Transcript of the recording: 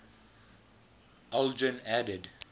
aldrin added